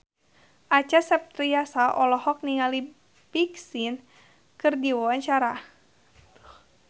Acha Septriasa olohok ningali Big Sean keur diwawancara